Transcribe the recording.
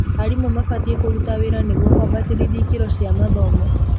Aarimu mabatiĩ kũruta wĩra nĩguo kũambatĩria ikĩro cia mathomo